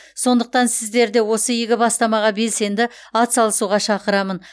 сондықтан сіздерді осы игі бастамаға белсенді атсалысуға шақырамын